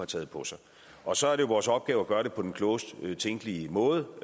taget på sig og så er det vores opgave at gøre det på den klogest tænkelige måde